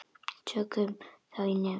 Tökum þá svo í nefið!